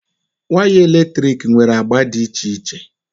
Waya eletrik nwere agba dị iche iche